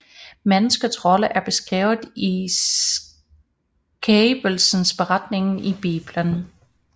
Menneskets rolle er beskrevet i Skabelsesberetningen i Bibelen